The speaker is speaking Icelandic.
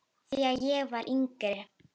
Þegar ég var yngri.